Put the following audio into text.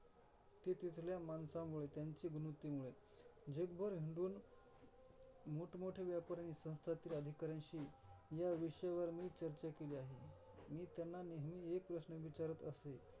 ते तिथल्या माणसांमुळे, त्यांची गुणवृत्तीमुळे जगभर हिंडून मोठमोठ्या व्यापाऱ्या आणि संस्थातील अधिकाऱ्यांशी या विषयावर मी चर्चा केली आहे. मी त्यांना नेहमी एक प्रश्न विचारत असे.